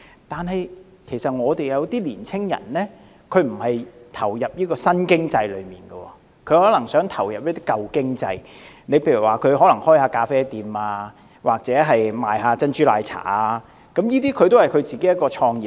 但是，有些青年人並不想投入這些新經濟產業，而是想從事一些舊經濟產業，例如開設咖啡室或賣珍珠奶茶，這些也算是創業。